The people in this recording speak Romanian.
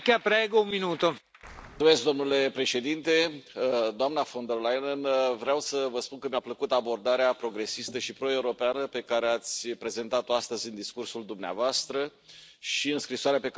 Domnule Președinte, doamnă von der Leyen, vreau să vă spun că mi a plăcut abordarea progresistă și pro europeană pe care ați prezentat o astăzi în discursul dumneavoastră și în scrisoarea pe care ați adresat o grupului meu.